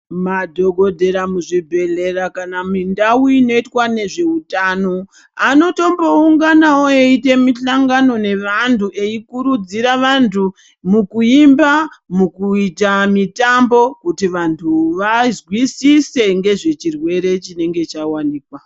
Madhokodhera muzvibhedhlera kana mindau inoitwa nezveutano, anotombounganawo eiite mihlangano nevanhu eikurudzira vantu mukuimba, mukuita mitambo kuti vantu vazwisise ngezvechirwere chinenge chawanikwa.